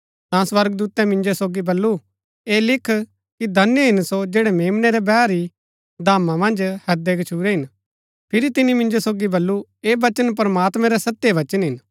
ता स्वर्गदूतै मिन्जो सोगी बल्लू ऐह लिख कि धन्य हिन सो जैड़ै मेम्नै रै बैह री धाम मन्ज हैदै गच्छुरै हिन फिरी तिनी मिन्जो सोगी बल्लू ऐह वचन प्रमात्मैं रै सत्य वचन हिन